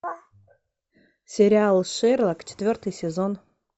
сериал шерлок четвертый сезон